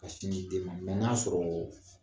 Ka sin di den ma n'a sɔrɔɔ